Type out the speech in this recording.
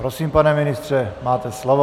Prosím, pane ministře, máte slovo.